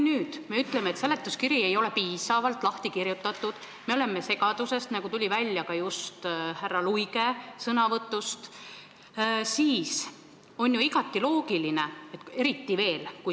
Praegu me ütleme, et seletuskiri ei ole piisavalt põhjalik, et me oleme segaduses, nagu tuli välja ka härra Luige sõnavõtust.